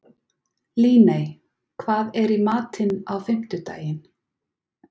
Líney, hvað er í matinn á fimmtudaginn?